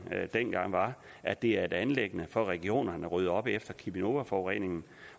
dengang var at det er et anliggende for regionerne at rydde op efter cheminovaforureningen